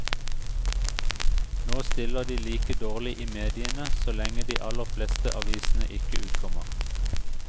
Nå stiller de like dårlig i mediene så lenge de aller fleste avisene ikke utkommer.